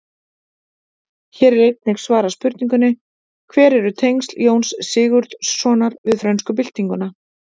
Hér er einnig svarað spurningunni: Hver eru tengsl Jóns Sigurðssonar við frönsku byltinguna?